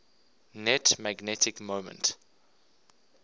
net magnetic moment